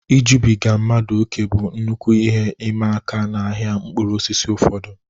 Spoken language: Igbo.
Ijubiga mmadụ ókè bụ nnukwu ihe ịma aka n'ahịa mkpụrụ osisi ụfọdụ.